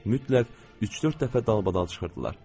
Mütləq üç-dörd dəfə dalbadal çıxırdılar.